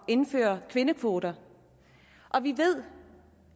indføre kvindekvoter og vi ved